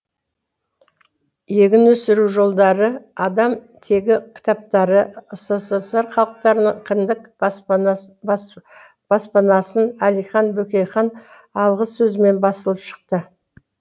егін өсіру жолдары адам тегі кітаптары ссср халықтарының кіндік баспасынан әлихан бөкейхан алғысөзімен басылып шықты